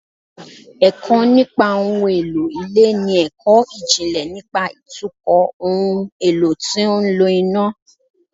Ẹ̀kọ́ nípa ohun èlò ilé ni ẹ̀kọ́ ìjìnlẹ̀ nípa ìtukọ̀ ohun èlò tó ń lo iná